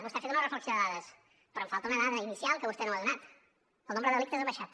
vostè ha fet una reflexió de dades però em falta una dada inicial que vostè no m’ha donat el nombre de delictes ha baixat